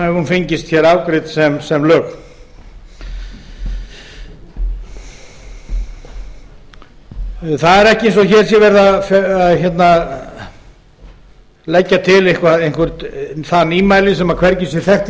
hún fengist afgreidd sem lög það er ekki eins og hér sé verið að leggja til eitthvert það nýmæli sem hvergi er þekkt í